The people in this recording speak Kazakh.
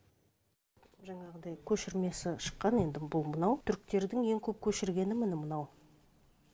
жаңағындай көшірмесі шыққан енді бұл мынау түріктердің ең көп көшіргені міне мынау